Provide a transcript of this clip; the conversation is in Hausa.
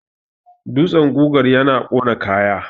dutsen gugar yana ƙona kaya